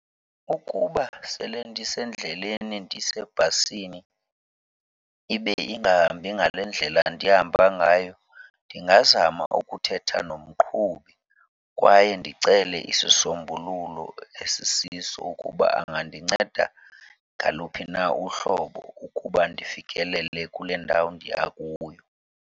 Ukuba sele ndisendleleni ndisebhasini ibe ingahambi ngale ndlela ndihamba ngayo, ndingazama ukuthetha nomqhubi kwaye ndicele isisombululo esisiso ukuba angandinceda ngaluphi na uhlobo ukuba ndifikelele kule ndawo ndiya kuyo.